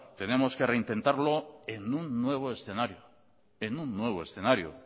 tenemos que reintentarlo en un nuevo escenario en un nuevo escenario